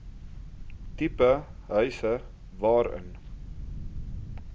tipe huise waarin